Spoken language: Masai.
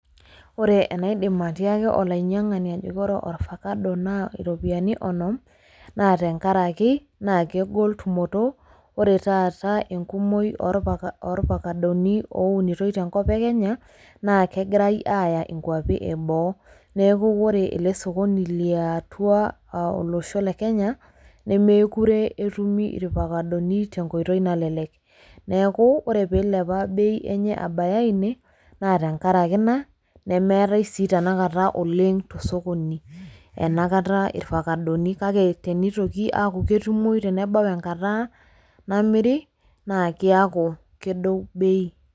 Ore enaidim atiaaki olainyiang'ani tenkaraki ore orvacado naa inchilingini onom naa kegol tumoto ore taata enkumoi oorvakadoni oounitoi tenkop e Kenya naa kegirai aaya inkuapi eboo nuuko ore ele sokoni liatua olosho le kenya nemeekure etumi irfakadoni tenkoitoi nalelek neeku ore peeilepa bei abaya ine naa tenkaraki ina nemeetai sii tenakata tosokoni nemeetai tenakata irvakadoni kake teneitoki aaku ketumoyu nebau enkata namiri naa kiaku kedou bei.